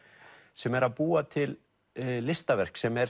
sem er að búa til listaverk sem er